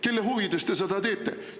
Kelle huvides te seda teete?